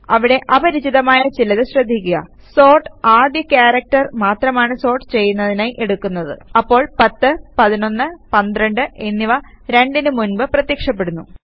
അവിടെ അപരിചിതമായ ചിലത് ശ്രദ്ധിയ്ക്കുക സോർട്ട് ആദ്യ ക്യാരക്ടർ മാത്രമാണ് സോർട്ട് ചെയ്യുന്നതിനായി എടുക്കുന്നത് അപ്പോൾ 10 11 12 എന്നിവ 2 നു മുൻപ് പ്രത്യക്ഷപ്പെടുന്നു